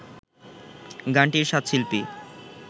গানটির সাত শিল্পী